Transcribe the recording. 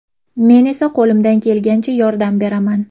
Men esa qo‘limdan kelganicha yordam beraman.